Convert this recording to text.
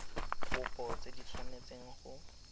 kopo tse di tshwanetseng go